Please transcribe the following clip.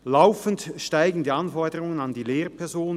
– Laufend steigen die Anforderungen an die Lehrpersonen.